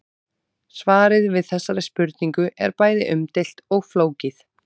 Svarið við þessari spurningu er bæði umdeilt og flókið.